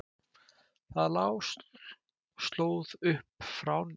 Það lá slóð upp frá ánni.